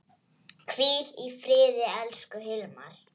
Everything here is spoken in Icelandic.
Hvíl í friði, elsku Hilmar.